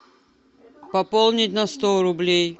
пополнить на сто рублей